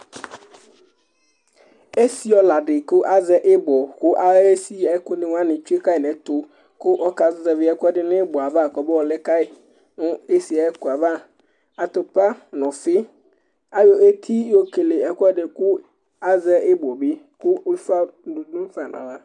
Esiɔla dɩ la nutɛ, azɛ ibɔ, kʊ atsi esi ayu ɛkʊ nɩ nʊ ɛtʊ, kʊ ɔkazɛvi ɛkuɛdɩ nʊ ibɔ yɛ li kɔmayɔ lɛ nʊ esi yɛ ava, ɔfi nʊ iko, ayɔ eti yɔ kele ɛkuɛdɩ kʊ azɛ ibɔ bɩ kʊ ufa nɩ dʊ fa naɣla